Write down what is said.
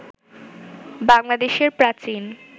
বাংলাদেশের প্রাচীন